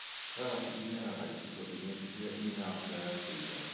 Karati imeraga icigo-inĩ irĩa na mbura ya kũigana